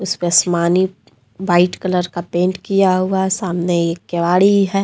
इसपे आसमानी white colour का पेंट किया हुआ सामने एक केवाड़ी है।